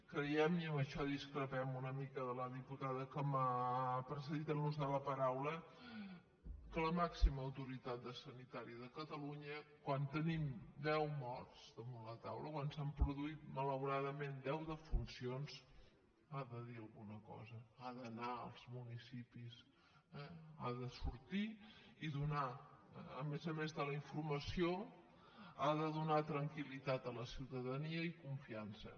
creiem i en això discrepem una mica de la diputada que m’ha precedit en l’ús de la paraula que la màxima autoritat sanitària de catalunya quan tenim deu morts damunt la taula quan s’han produït malauradament deu defuncions ha de dir alguna cosa ha d’anar als municipis ha de sortir i a més a més de la informa·ció ha de donar tranquil·litat a la ciutadania i confian·ça